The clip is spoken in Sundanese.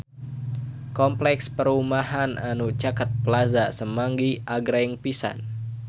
Kompleks perumahan anu caket Plaza Semanggi agreng pisan